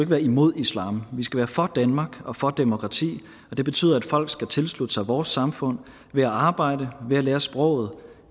være imod islam vi skal være for danmark og for demokrati og det betyder at folk skal tilslutte sig vores samfund ved at arbejde ved at lære sproget